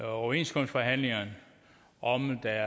overenskomstforhandlingerne om der